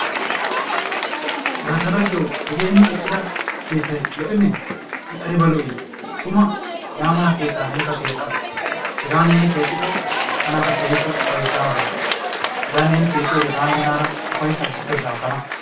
Laa ta laggiyawu hegee hinin eqqida keettay lo'enee? I aybba lo'ii? Tuma hegaa mala keettaa nenkka keexxa. Hegaa neeni keexikko tanakka keehi ufaysanawu dees. Hegaa neeni keexiyode taani nenaara ufayssa issippe shaakkana.